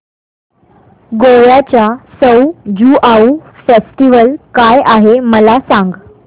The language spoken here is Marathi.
गोव्याचा सउ ज्युआउ फेस्टिवल काय आहे मला सांग